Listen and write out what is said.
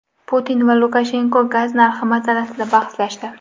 Putin va Lukashenko gaz narxi masalasida bahslashdi.